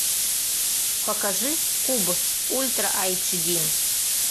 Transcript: покажи куб ультра айч ди